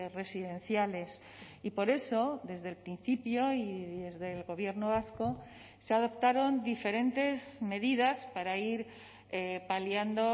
residenciales y por eso desde el principio y desde el gobierno vasco se adoptaron diferentes medidas para ir paliando